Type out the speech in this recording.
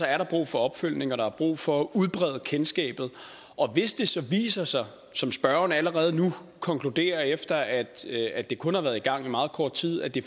er der brug for opfølgning og der er brug for at udbrede kendskabet og hvis det så viser sig som spørgeren allerede nu konkluderer efter at det kun har været i gang i meget kort tid at det